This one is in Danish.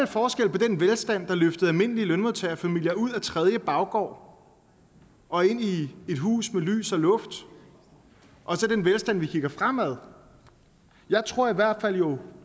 forskel på den velstand der løftede almindelige lønmodtagerfamilier ud af tredje baggård og ind i et hus med lys og luft og så den velstand vi kigger fremad jeg tror i hvert fald at jo